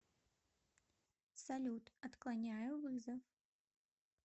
салют отклоняю вызов